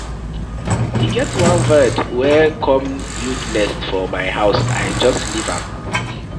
E get one bird wey come build nest for my house. I just leave am.